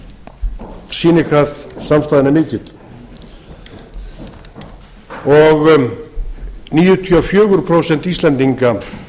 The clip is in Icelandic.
gengur og sýnir hvað samstaðan er mikil níutíu og fjögur prósent íslendinga